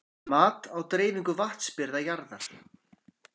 Mat á dreifingu vatnsbirgða jarðar.